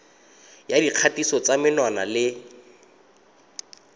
ya dikgatiso tsa menwana le